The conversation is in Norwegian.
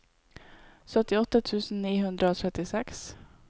syttiåtte tusen ni hundre og trettiseks